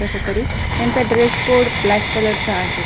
कसतरी त्यांच dress code black colour चा आहे.